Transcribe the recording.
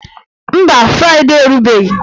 Mba, fraịdee erubeghị